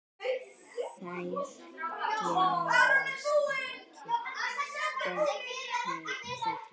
Þær gerast ekki betri.